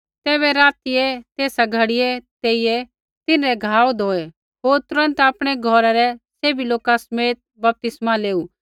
तैबै रातियै तेसा घड़ियै तेइयै नेइया तिन्हरै घाव धोऐ होर तुरन्त आपणै घौरै रै सैभी लोका समेत बपतिस्मा लेऊ